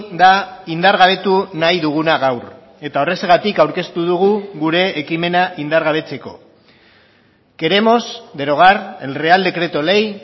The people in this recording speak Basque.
da indargabetu nahi duguna gaur eta horrexegatik aurkeztu dugu gure ekimena indargabetzeko queremos derogar el real decreto ley